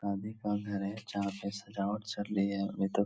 शादी का घर है। जहाँ पे सजावट चल रही है। अभी तो --